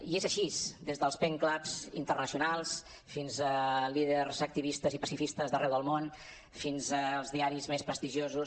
i és així des dels pen clubs internacionals fins a líders activistes i pacifistes d’arreu del món fins als diaris més prestigiosos